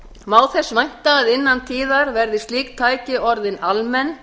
má þess vænta að innan tíðar verði slík tæki orðin almenn